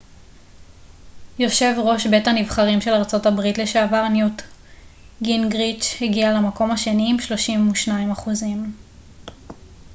יושב ראש בית הנבחרים של ארה ב לשעבר ניוט גינגריץ' הגיע למקום השני עם 32 אחוזים